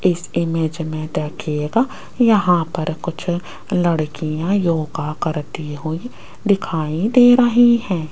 इस इमेज में देखिएगा यहां पर कुछ लड़कियां योगा करती हुई दिखाई दे रही हैं।